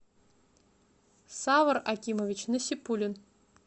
савр акимович насипуллин